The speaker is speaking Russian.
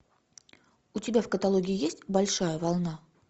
у тебя в каталоге есть большая волна